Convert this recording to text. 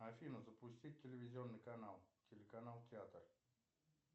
афина запустить телевизионный канал телеканал театр